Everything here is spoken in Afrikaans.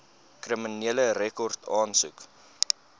kriminele rekord aansoek